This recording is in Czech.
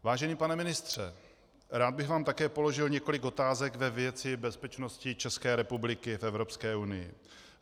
Vážený pane ministře, rád bych vám také položil několik otázek ve věci bezpečnosti České republiky v Evropské unii.